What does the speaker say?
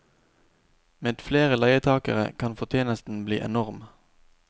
Med flere leietagere kan fortjenesten bli enorm.